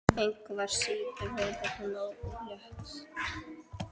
Engu að síður verður hún ólétt.